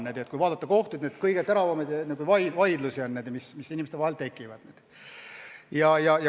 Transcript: Seda võib väita, kui vaadata kõige teravamaid vaidlusi, mis inimeste vahel kohtus tekivad.